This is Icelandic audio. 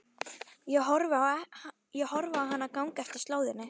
Ég horfi á hana ganga eftir slóðinni.